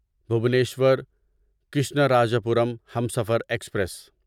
Bhubaneswar Krishnarajapuram Humsafar express